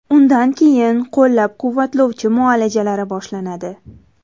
Undan keyin qo‘llab-quvvatlovchi muolajalari boshlanadi.